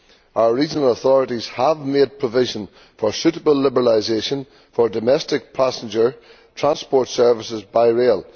Our regional authorities have made provision for suitable liberalisation of domestic passenger transport services by rail